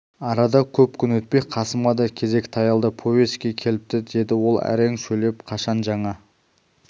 арада көп күн өтпей қасымға да кезек таялды повестке келіпті деді ол әрең сөйлеп қашан жаңа